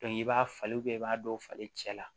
i b'a falen i b'a dɔw falen cɛ la